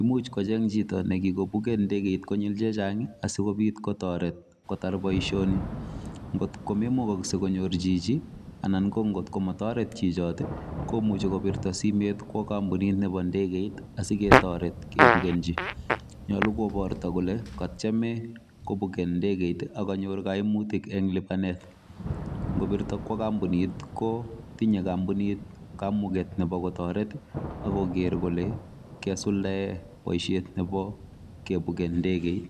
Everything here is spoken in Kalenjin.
Imuch kocheng chito nekigobuken ndegeit konyil che chang asikobiit kotoret kotar boisioni ngot ko meimugokse konyor chichi anan ngot ko motoret chichito komuche kobirto simet kwo kompunit nebo ndegeit asiketoret kebugenji. Nyolu koborto kole kotyeme kobuken ndegeit ak kanyor koimutik en lipanet, ngobirto kwo kompunit kotinye kompunit kamuget nebo kotoret ak koger kole kasuldaen boisiet nebo kibuken ndegeit.